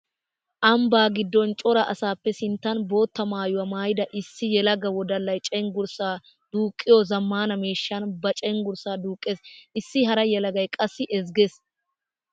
Ambba giddon cora asappe sinttan bootta maayuwa maayidda issi yelaga wodallay cenggurssa duuqqiyo zamaana miishshan ba cenggurssa duuqqes. Issi hara yelagay qassi ezggees.